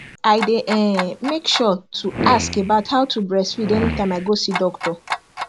i day um make sure to ask about how to breastfeed anytime i go see doctor